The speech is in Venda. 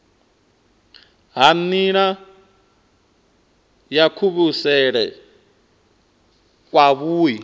ha nila ya kuvhusele kwavhui